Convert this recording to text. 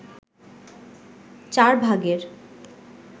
চার ভাগের